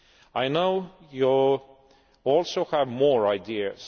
I know you also have more ideas.